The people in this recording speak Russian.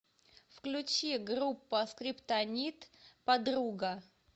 включи группа скриптонит подруга